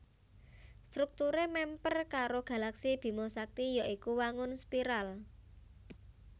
Strukturé mèmper karo galaksi Bima Sakti ya iku wangun spiral